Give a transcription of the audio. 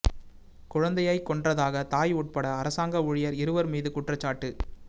குழந்தையைக் கொன்றதாக தாய் உட்பட அரசாங்க ஊழியர் இருவர் மீது குற்றச்சாட்டு